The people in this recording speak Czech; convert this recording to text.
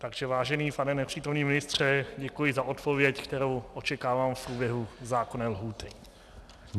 Takže vážený pane nepřítomný ministře, děkuji za odpověď, kterou očekávám v průběhu zákonné lhůty.